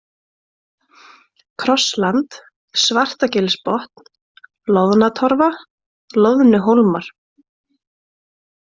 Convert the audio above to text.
Krossland, Svartagilsbotn, Loðnatorfa, Loðnuhólmar